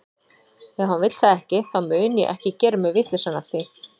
Ef hann vill það ekki, þá mun ég ekki gera mig vitlausan af því.